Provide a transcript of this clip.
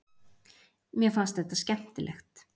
Mér fannst þetta skemmtilegt.